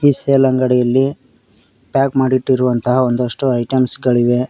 Sale ಅಂಗಡಿಯಲ್ಲಿ pack ಮಾಡಿಟ್ಟಿರುವಂತಹ ಒಂದಷ್ಟು ಐಟಮ್ಸ್ ಗಳಿವೆ.